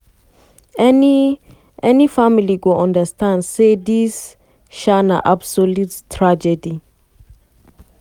"any "any family go understand say dis um na absolute tragedy."